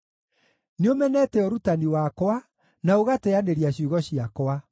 Nĩũmenete ũrutani wakwa, na ũgateanĩria ciugo ciakwa.